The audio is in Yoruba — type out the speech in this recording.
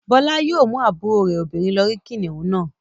Bọ́lá yóò mú àbúrò rẹ̀ obìnrin lọ rí kìnnìún náà.